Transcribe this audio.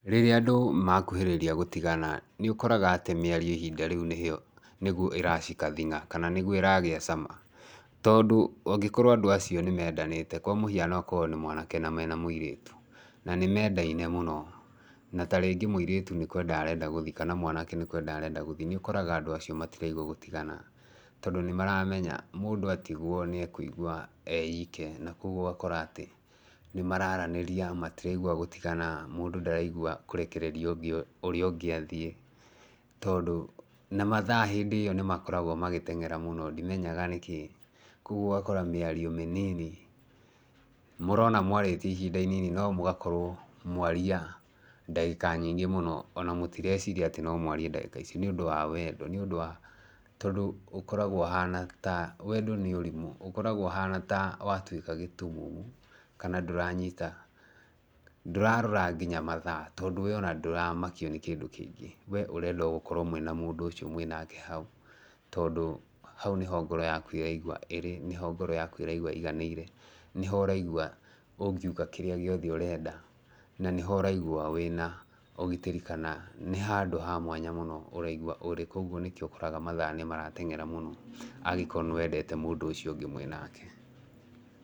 Rĩrĩa andũ makuhĩrĩria gũtigana nĩ ũkoraga atĩ mĩario ihinda rĩu nĩguo ĩra shika thing'a kana nĩrĩo ĩragĩa cama. Tondũ ũngĩkora andũ acio nĩ mendanĩte kwa mũhiano okorwo nĩ mwanake na mena mũirĩtu na nĩ mendaine mũno, na ta rĩngĩ mũirĩtu nĩ kwenda arenda gũthiĩ kana mwanake arenda gũthiĩ, nĩ ũkoraga andũ acio matirenda gũtigana. Tondũ nĩ maramenya mũndũ atigwo nĩ ekũigwa e ike na kwoguo ũgakora atĩ nĩ maraaranĩria matiraigwa gũtigana, mũndũ ndaraigua kũrekereria ũrĩa ũngĩ athiĩ. Tondũ na mathaa hĩndĩ ĩyo nĩ makoragwo magĩtengera mũno, ndimenyaga nĩkĩĩ. Kwoguo ũgakora mĩario mĩnini mũrona mwarĩtie ihinda inini no mũgakorwo mwaria ndagĩka nyingĩ mũno. Ona mũtireciria atĩ no mwarie ndagĩka ici nĩ ũndũ wa wendo wendo nĩ ũndũ wa tondũ ũkoragwo ũhana ta, wendo nĩ ũrimũ. Ũkoragwo ũhana ta watuĩka gĩtumumu kana ndũranyita, ndũrarora nginya mathaa, tondũ we ona ndũramakio nĩ kĩndũ kĩngĩ. We ũrenda o gũkorwo mwĩna mündũ ũcio mwĩnake hau tondũ hau nĩho ũraigua ngoro yaku ĩraigua ĩrĩ, nĩho ngoro yaku ĩraigua ĩiganĩire, nĩho ũraigua ũngiuga kĩrĩa gĩothe ũrenda. Na nĩho ũraigua wĩna ũgĩtĩri kana nĩ handũ ha mwanya mũno ũraigua ũrĩ. Koguo nĩkĩo ũkoraga mathaa nĩ maratengera mũno angĩkorwo nĩ wendete mũndũ ũcio ũngĩ mwĩnake.